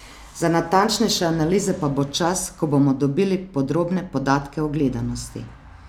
Za natančnejše analize pa bo čas, ko bomo dobili podrobne podatke o gledanosti.